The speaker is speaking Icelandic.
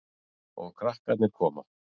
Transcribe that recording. Og krakkarnir koma.